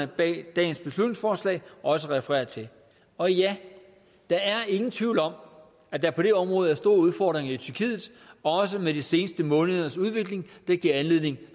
bag dagens beslutningsforslag også refererer til og ja der er ingen tvivl om at der på det område er store udfordringer i tyrkiet også med de seneste målinger der giver anledning